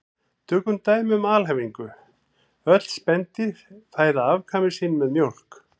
Tökum dæmi um alhæfingu: Öll spendýr fæða afkvæmi sín með mjólk